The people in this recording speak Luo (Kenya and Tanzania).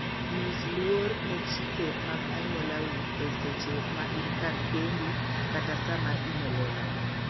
Nyis luor ne chike mag anyuolau e seche ma in kar kendi kata sama in e lela.